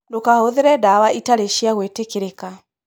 Ndũkahũthĩre ndawa itarĩ cia gwĩtĩkĩrĩka.